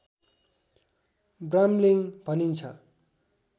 brambling भनिन्छ